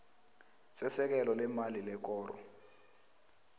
sesekelo leemali lekoro